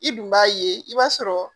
I dun b'a ye i b'a sɔrɔ